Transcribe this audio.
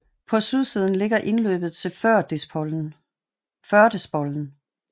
På sydsiden ligger indløbet til Førdespollen